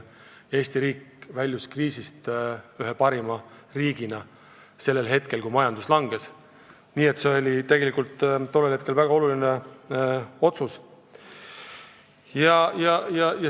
Eesti väljus kriisist ühe parima riigina, nii et see oli tegelikult tollel hetkel väga oluline otsus.